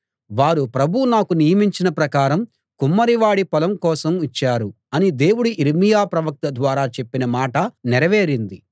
వారు ప్రభువు నాకు నియమించిన ప్రకారం కుమ్మరి వాడి పొలం కోసం ఇచ్చారు అని దేవుడు యిర్మీయా ప్రవక్త ద్వారా చెప్పిన మాట నెరవేరింది